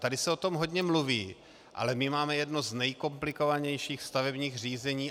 Tady se o tom hodně mluví, ale my máme jedno z nejkomplikovanějších stavebních řízení.